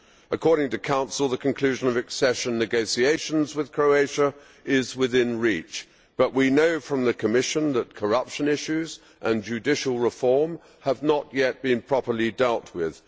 According to the Council, the conclusion of accession negotiations with Croatia is within reach, but we know from the Commission that corruption issues and judicial reform have not yet been properly dealt with.